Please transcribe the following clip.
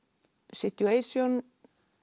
situation